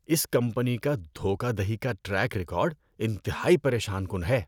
اس company کا دھوکہ دہی کا ٹریک ریکارڈ انتہائی پریشان کن ہے۔